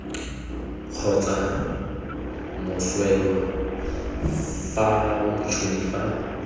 kgotsa moswelwa fa motšhoni fa